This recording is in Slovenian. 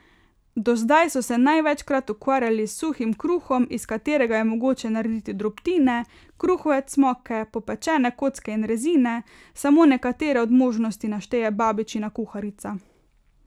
Do zdaj so se največkrat ukvarjali s suhim kruhom, iz katerega je mogoče narediti drobtine, kruhove cmoke, popečene kocke in rezine, samo nekatere od možnosti našteje babičina kuharica.